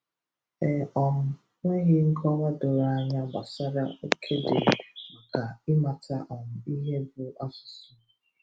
e um nweghii nkọwa doro anya gbasara oke dị maka ịmata um ihe bụ asụsụ